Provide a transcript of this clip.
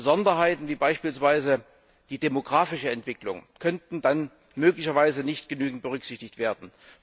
Besonderheiten wie beispielsweise die demografische Entwicklung könnten dann möglicherweise nicht genügend berücksichtigt werden.